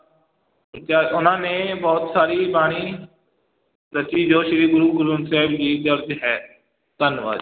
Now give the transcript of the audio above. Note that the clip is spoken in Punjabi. ਉਹਨਾਂ ਨੇ ਬਹੁਤ ਸਾਰੀ ਬਾਣੀ ਰਚੀ ਜੋ ਸ੍ਰੀ ਗੁਰੂ ਗ੍ਰੰਥ ਸਾਹਿਬ ਜੀ ਦਰਜ ਹੈ, ਧੰਨਵਾਦ।